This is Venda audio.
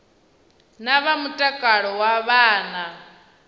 na vha mutakalo wa vhana